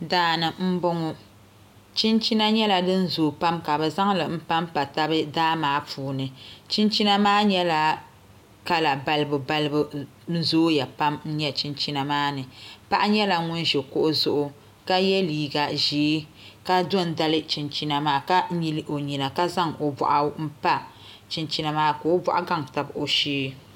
Daani n boŋo chinchina nyɛla din zooi pam ka bi zaŋli panpa tabi daa maa puuni chinchina maa nyɛla kala balibu balibu zooya pam n nyɛ chinchina maa ni paɣa nyɛla ŋun ʒi kuɣu zuɣu ka yɛ liiga ʒiɛ ka do n dali chinchina maa ka nyili o nyina ka zaŋ o boɣu n pa chinchina maa ka o boɣu gaŋ tabi o shee